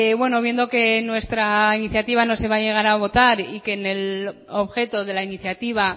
bueno viendo que nuestra iniciativa no se va a llegar a votar y que en el objeto de la iniciativa